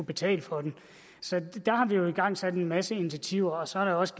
betale for den der har vi jo igangsat en masse initiativer og så er der også